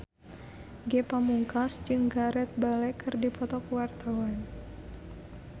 Ge Pamungkas jeung Gareth Bale keur dipoto ku wartawan